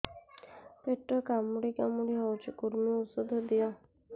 ପେଟ କାମୁଡି କାମୁଡି ହଉଚି କୂର୍ମୀ ଔଷଧ ଦିଅ